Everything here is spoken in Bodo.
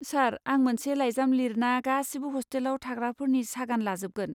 सार, आं मोनसे लाइजाम लिरना गासिबो हस्टेलाव थाग्राफोरनि सागान लाजोबगोन।